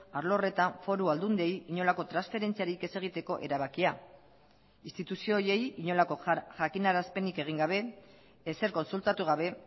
arlo horretan foru aldundiei inolako transferentziarik ez egiteko erabakia instituzio horiei inolako jakinarazpenik egin gabe ezer kontsultatu gabe